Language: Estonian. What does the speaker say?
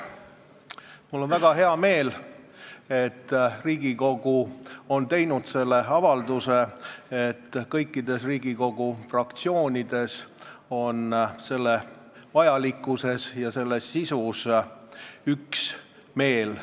Mul on väga hea meel, et Riigikogu on teinud selle avalduse ning et kõik Riigikogu fraktsioonid on selle vajalikkuses ja selle sisus üksmeelel.